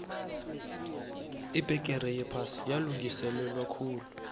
ibbegere yephasi yalungiselelwakhulu